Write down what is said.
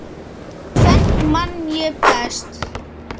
Tvennt man ég best.